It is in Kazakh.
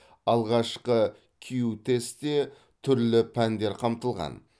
алғашқы кю тестте түрлі пәндер қамтылған